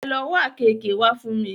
Ẹ lo wá àkeekee wá fún mi!